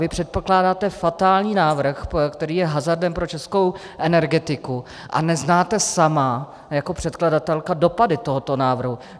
Vy předkládáte fatální návrh, který je hazardem pro českou energetiku, a neznáte sama jako předkladatelka dopady tohoto návrhu.